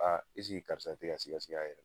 karisa ti ka siga siga a yɛrɛ la